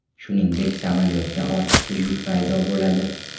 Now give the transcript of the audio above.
Shuningdek, samolyotda ortiqcha yuk paydo bo‘ladi.